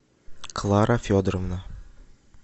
клара федоровна